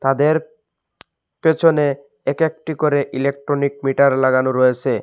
তাদের পেছনে এক একটি করে ইলেকট্রনিক মিটার লাগানো রয়েসে।